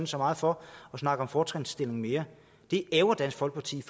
så meget for at snakke om fortrinsstilling mere det ærgrer dansk folkeparti